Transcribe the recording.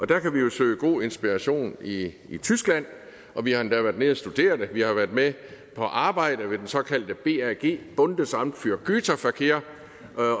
der kan vi jo søge god inspiration i tyskland og vi har endda været nede at studere det vi har været med på arbejde ved den såkaldte brg bundesamt für güterverkehr